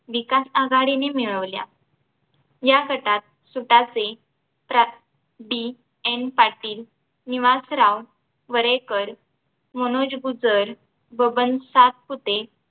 विकास आघाडीने मिळवल्या या गटात सुतासे प्रा DN पाटील निवासराव वरेकर मनोज गुज्जर बबन सातपुते